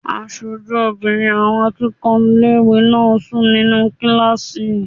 Aṣojú obìnrin àwọn akẹ́kọ̀ọ́ ilé-ìwé náà ń sùn nínu kílásì